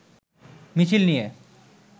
মিছিল নিয়ে